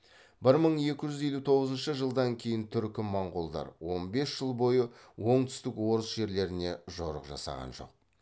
бір мың екі жүз елу тоғызыншы жылдан кейін түркі моңғолдар он бес жыл бойы оңтүстік орыс жерлеріне жорық жасаған жоқ